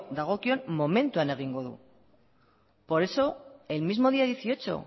dagokion momentuan egingo du por eso el mismo día dieciocho